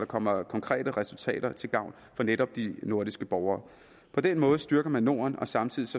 kommer konkrete resultater til gavn for netop de nordiske borgere på den måde styrker man norden og samtidig